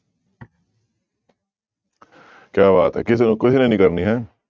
ਕਿਆ ਬਾਤ ਹੈ ਕਿਸੇ ਨੇ ਕਿਸੇ ਨੇ ਨੀ ਕਰਨੀ ਹੈ।